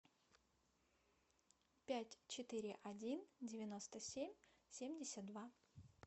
пять четыре один девяносто семь семьдесят два